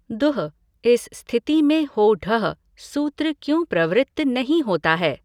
दुह् इस स्थिति में हो ढः सूत्र क्यों प्रवृत्त नहीं होता है?